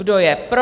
Kdo je pro?